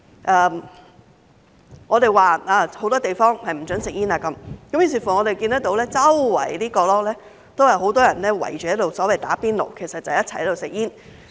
由於有很多地方不准吸煙，於是我們看到四處角落也有很多人圍着所謂"打邊爐"，其實就是一齊吸煙。